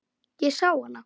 Ég sá hana.